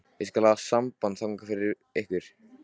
Ég skal hafa samband þangað fyrir ykkur.